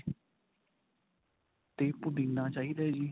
ਤੇ ਪੁਦੀਨਾ ਚਾਹੀਦਾ ਜੀ.